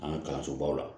An ka kalansobaw la